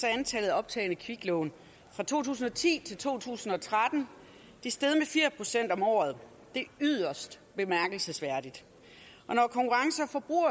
er antallet af optagne kviklån fra to tusind og ti til to tusind og tretten steget med fire procent om året det er yderst bemærkelsesværdigt